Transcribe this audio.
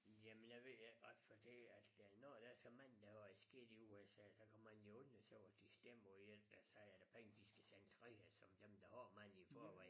Jamen jeg ved ikke ret fordi at når der er så mange der har det skidt i USA så kan man jo undre sig over de stemmer på en der siger æ penge de skal dem videre som dem der har mange i forvejen